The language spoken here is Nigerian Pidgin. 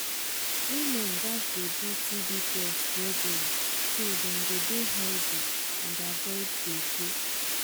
women gats dey do tb test regular so dem go healthy and avoid gbege.